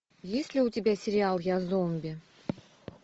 есть ли у тебя сериал я зомби